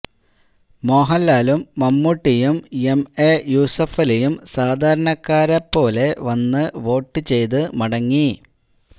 മോഹൻലാലും മമ്മൂട്ടിയും എംഎ യൂസഫലിയും സാധാരണക്കാരെ പോലെ വന്ന് വോട്ട് ചെയ്തു മടങ്ങി